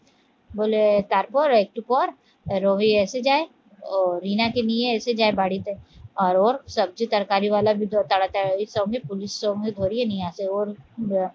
বলে তারপর একটু পর রবি এসে যায় ও রিনাকে নিয়ে এসে যায় বাড়িতে আর ওর সবজি তরকারি ওয়ালা তাড়াতাড়ি এর সঙ্গে পুলিশ সঙ্গে ধরিয়ে নিয়ে আসে ওর